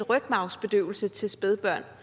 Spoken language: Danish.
rygmarvsbedøvelse til spædbørn